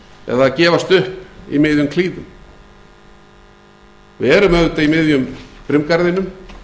eða gefast upp í miðjum klíðum við erum auðvitað í miðjum brimgarðinum